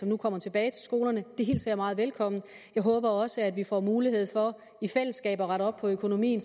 nu kommer tilbage til skolerne meget velkommen jeg håber også vi får mulighed for i fællesskab at rette op på økonomien